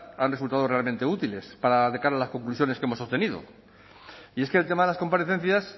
han resultado realmente útiles para de cara a las conclusiones que hemos obtenido y es que el tema de las comparecencias